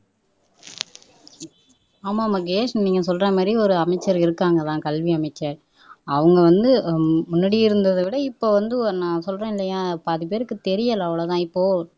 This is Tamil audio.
ஆமா மகேஷ் நீங்க சொல்றமாதிரி ஒரு அமைச்சர் இருக்கிறாங்க தான் கல்வி அமைச்சர் அவங்க வந்து முன்னாடி இருந்ததை விட இப்போ வந்து நான் சொல்றேன் இல்லையா பாதிபேருக்கு தெரியல அவ்வளவுதான் இப்போ